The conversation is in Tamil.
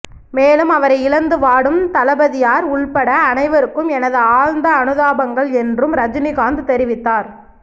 மேலும் அவரை இழந்து வாடும் தளபதியார் உள்பட அனைவருக்கும் எனது ஆழ்ந்த அனுதாபங்கள் என்றும் ரஜினிகாந்த் தெரிவித்தார்